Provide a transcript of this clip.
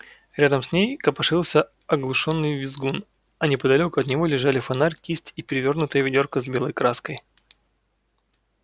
рядом с ней копошился оглушённый визгун а неподалёку от него лежали фонарь кисть и перевёрнутое ведёрко с белой краской